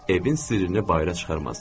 Evin sirrini bayıra çıxarmaz.